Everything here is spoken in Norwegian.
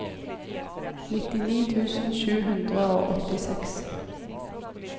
nittini tusen sju hundre og åttiseks